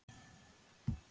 Hann skoraði tvö mörk